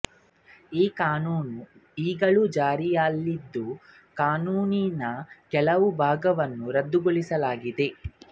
ಈ ಕಾನೂನು ಈಗಲೂ ಜಾರಿಯಲ್ಲಿದ್ದು ಕಾನೂನಿನ ಕೆಲವು ಭಾಗವನ್ನು ರದ್ದುಗೊಳಿಸಲಾಗಿದೆ